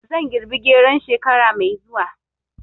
Zan girbi geron shekara mai zuwa